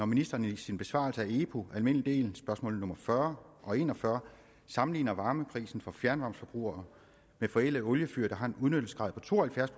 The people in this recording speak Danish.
ministeren i sin besvarelse af epu almindelig del spørgsmål nummer fyrre og en og fyrre sammenligner varmeprisen for fjernvarmeforbrugere med forældede oliefyr der har en udnyttelsesgrad to og halvfjerds